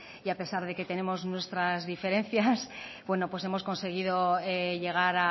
y a pesar de que tenemos nuestras diferencias hemos conseguido llegar